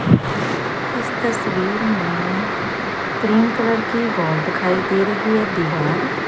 इस तस्वीर में क्रीम कलर की वॉल दिखाई दे रही है दीवाल ।